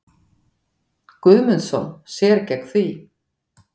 Guðmundsson sér gegn því.